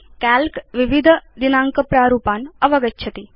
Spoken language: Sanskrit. काल्क विविधदिनाङ्कप्रारूपान् अवगच्छति